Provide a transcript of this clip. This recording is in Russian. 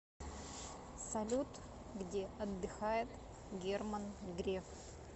салют где отдыхает герман греф